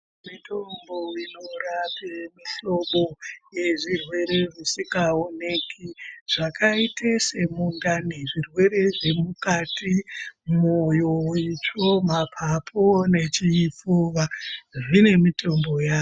Mitombo inorape mihlobo yezvirwere zvisikaoneki zvakaite semundani zvirwere zvemukati moyo itsvo mapapu nechipfuwa zvine mitombo yazvo .